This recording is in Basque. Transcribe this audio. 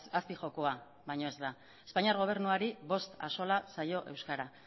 azpijokoa baino ez da espainiar gobernuari bost axola zaio euskara